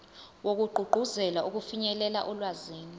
wokugqugquzela ukufinyelela olwazini